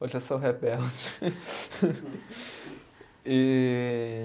Hoje eu sou rebelde. E